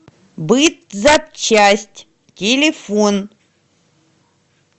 бытзапчасть телефон